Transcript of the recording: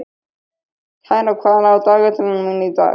Karó, hvað er á dagatalinu mínu í dag?